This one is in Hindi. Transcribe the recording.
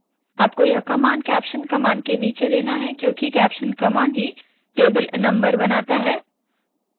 आपको यह कमांड कैप्शन कमांड के नीचे देना है क्योंकि कैप्शन कमांड ही टेबल नम्बर बनाता है